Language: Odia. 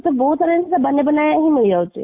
ତ ବହୁତ ସାରା ଜିନିଷ ହି ମିଳି ଯାଉଛି